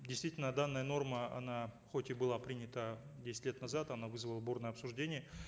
действительно данная норма она хоть и была принята десять лет назад она вызвала бурное обсуждение